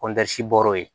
bɔra yen